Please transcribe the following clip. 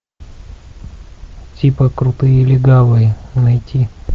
типа крутые легавые найти